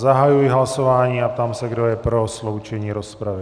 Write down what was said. Zahajuji hlasování a ptám se, kdo je pro sloučení rozpravy.